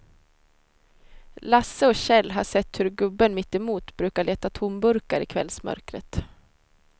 Lasse och Kjell har sett hur gubben mittemot brukar leta tomburkar i kvällsmörkret.